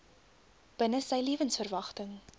binne sy lewensverwagting